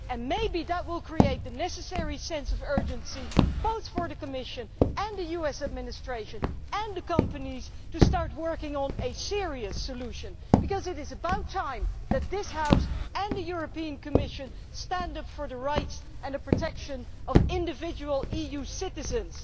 Maybe that will create the necessary sense of urgency for the Commission, the US Administration and the companies to start working on a serious solution, because it is about time this House and the Commission stood up for the rights and the protection of individual EU citizens.